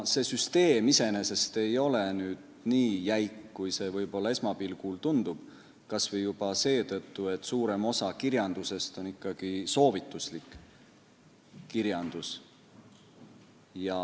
See süsteem iseenesest ei ole nii jäik, kui see võib-olla esmapilgul tundub, kas või juba seetõttu, et suurem osa on ikkagi soovituslik kirjandus.